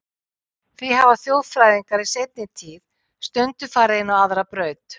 Því hafa þjóðfræðingar í seinni tíð stundum farið inn á aðra braut.